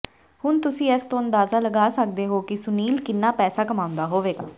ਹੁਣ ਤੁਸੀ ਇਸ ਤੋਂ ਅਂਦਾਜਾ ਲਗਾ ਸੱਕਦੇ ਹੋ ਕਿ ਸੁਨੀਲ ਕਿੰਨਾ ਪੈਸਾ ਕਮਾਉਂਦੇ ਹੋਵੋਗੇ